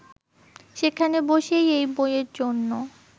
সেখানে বসেই এই বইয়ের জন্য